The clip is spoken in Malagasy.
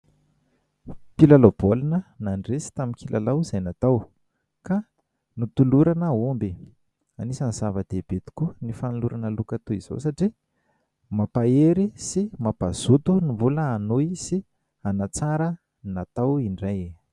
Mpilalao baolina nandresy tamin'ny kilalao izay natao ka notolorana omby. Anisany zava-dehibe tokoa ny fanolorana loka toy izao satria mampahery sy mampazoto no mbola hanohy sy hanatsara ny natao.